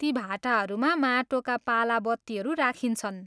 ती भाटाहरूमा माटोका पाला बत्तीहरू राखिन्छन्।